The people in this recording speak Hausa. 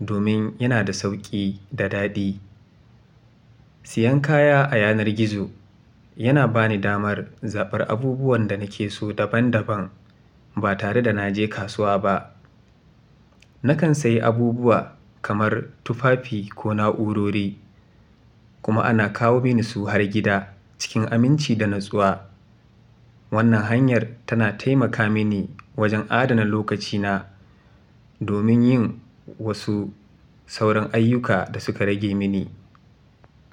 domin yana da sauƙi da daɗi. Siyan kaya a yanar gizo yana ba ni damar zabar abubuwan da nake so daban-daban ba tare da na je kasuwa ba. Nakan sayi abubuwa kamar tufafi ko na'urori, kuma ana kawo mini su har gida cikin aminci da natsuwa. Wannan hanyar tana taimaka mini wajen adana lokacina domin yin wasu sauran ayyuka da suka rage mini.